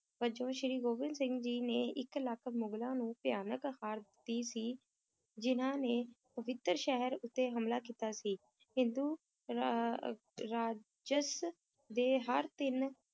ਵਜੋਂ ਸ੍ਰੀ ਗੋਬਿੰਦ ਸਿੰਘ ਜੀ ਨੇ ਇਕ ਲੱਖ ਮੁਗ਼ਲਾਂ ਨੂੰ ਭਿਆਨਕ ਹਾਰ ਦਿੱਤੀ ਸੀ ਜਿਨ੍ਹਾਂ ਨੇ ਪਵਿੱਤਰ ਸ਼ਹਿਰ ਉੱਤੇ ਹਮਲਾ ਕੀਤਾ ਸੀ, ਹਿੰਦੂ ਰਾ~ ਅਹ ਰਾਜਸ ਦੇ ਹਰ ਤਿੰਨ